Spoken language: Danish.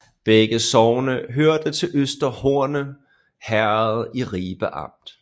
Begge sogne hørte til Øster Horne Herred i Ribe Amt